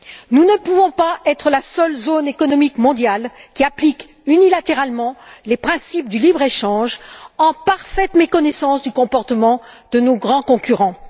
Nous ne pouvons pas être la seule zone économique mondiale à appliquer unilatéralement les principes du libre échange en parfaite méconnaissance du comportement de nos grands concurrents.